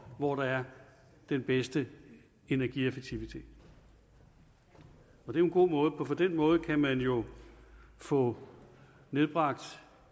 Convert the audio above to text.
hvor der er den bedste energieffektivitet det er en god måde for på den måde kan man jo få nedbragt